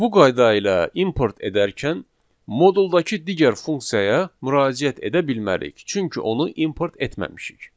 Bu qayda ilə import edərkən moduldakı digər funksiyaya müraciət edə bilmərik, çünki onu import etməmişik.